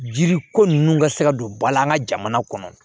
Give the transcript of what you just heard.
Jiri ko ninnu ka se ka don bala an ka jamana kɔnɔ